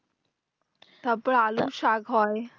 তারপরে আলুর শাক হয়